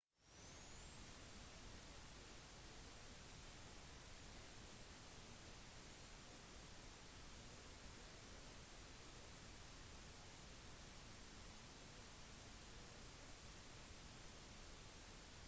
noen mener at det å oppleve mange framtidsrettede klare drømmer ofte på en kunstig indusert måte kan være veldig slitsomt